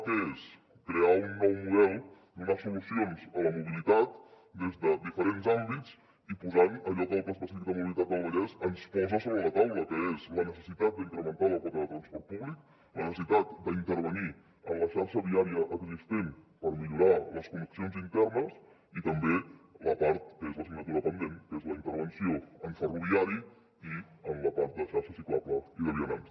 què és crear un nou model donar solucions a la mobilitat des de diferents àmbits i posant allò que el pla específic de mobilitat del vallès ens posa sobre la taula que és la necessitat d’incrementar la quota de transport públic la necessitat d’intervenir en la xarxa viària existent per millorar les connexions internes i també la part que és l’assignatura pendent que és la intervenció en ferroviari i en la part de xarxa ciclable i de vianants